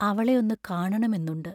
അവളെ ഒന്നു കാണണമെന്നുണ്ട്.